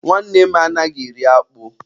Nwanne nne m anaghị eri akpụ.